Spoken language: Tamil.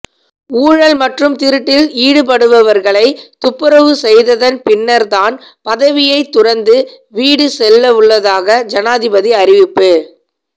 ஊழல் மற்றும் திருட்டில் ஈடுபடுபவர்களை துப்பறவு செய்ததன் பின்னர்தான் பதவியை துறந்து வீடு செல்லவுள்ளதாக ஜனாதிபதி அறிவிப்பு